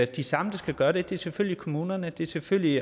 de samme der skal gøre det det er selvfølgelig kommunerne det er selvfølgelig